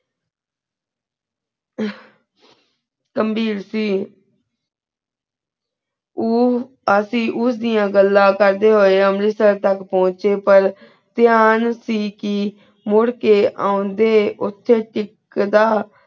ਕਾਮ੍ਘਿਰ ਸੀ ਊ ਅਸੀ ਉਸ ਦਿਯਾ ਗੱਲਾ ਕਰ ਦੇ ਹੋਯਾ ਆਂ ਅੰਮ੍ਰਿਤਸਰ ਤਕ ਪਹੁੰਚੇ ਪਰ ਤੀਹਾਂਨ ਸੀ ਕਿ ਮੁਰ ਕੇ ਅਣਦੇ ਓਥੇ ਟਿਕਦਾ